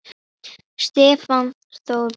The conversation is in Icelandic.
Stefán Þór Bogason